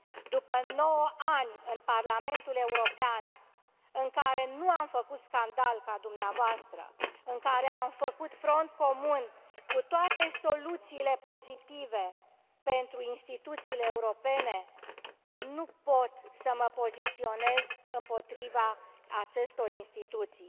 După nouă ani în Parlamentul European, în care nu am făcut scandal, ca dumneavoastră, în care am făcut front comun cu toate soluțiile pozitive pentru instituțiile europene, nu pot să mă poziționez împotriva acestor instituții.